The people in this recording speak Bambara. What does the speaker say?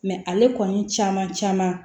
ale kɔni caman caman